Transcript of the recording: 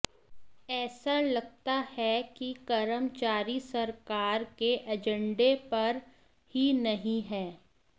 ऐसा लगता है कि कर्मचारी सरकार के ऐजंडे पर ही नहीं हैं